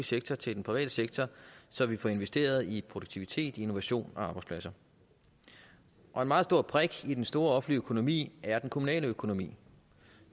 sektor til den private sektor så vi får investeret i produktivitet innovation og arbejdspladser og en meget stor brik i den store offentlige økonomi er den kommunale økonomi